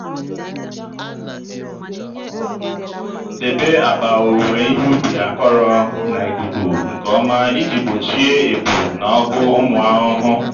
debe akpa owuwe ihe ubi akọrọ na ikuku nke ọma iji gbochie ebu na ọgụ ụmụ ahụhụ.